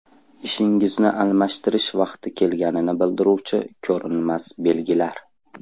Ishingizni almashtirish vaqti kelganini bildiruvchi ko‘rinmas belgilar.